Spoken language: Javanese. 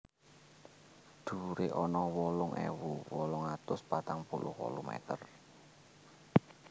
Dhuwuré ana wolung ewu wolung atus patang puluh wolu meter